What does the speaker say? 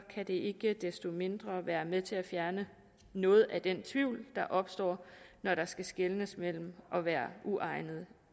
det ikke desto mindre være med til at fjerne noget af den tvivl der opstår når der skal skelnes mellem at være uegnet